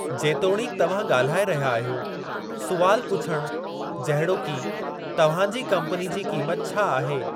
जेतोणीकि तव्हां ॻाल्हाए रहिया आहियो, सुवालु पुछणु जहिड़ोकि,'तव्हां जी कम्पनी जी क़ीमत छा आहे'?